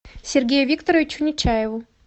сергею викторовичу нечаеву